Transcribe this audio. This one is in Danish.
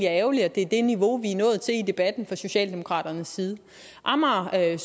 er ærgerligt at det er det niveau vi er nået til i debatten fra socialdemokraternes side amager